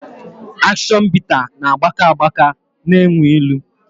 Akshion bita na gbaka agbaka na enyu ịlụ